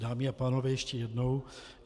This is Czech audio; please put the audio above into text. Dámy a pánové, ještě jednou.